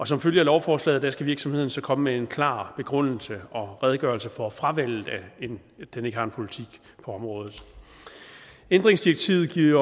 som følge af lovforslaget skal virksomheden så komme med en klar begrundelse og redegørelse for at fravælge at den ikke har en politik på området ændringsdirektivet giver